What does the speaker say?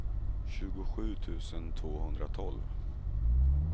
tjugosju tusen tvåhundratolv